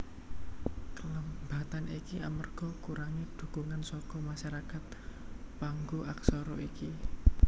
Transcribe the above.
Kelambatan iki amarga kurangé dhukungan saka masarakat pangnggo aksara iki